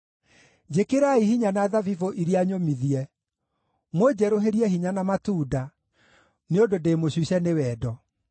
Njĩkĩrai hinya na thabibũ iria nyũmithie, mũnjerũhĩrie hinya na matunda, nĩ ũndũ ndĩ mũcuce nĩ wendo.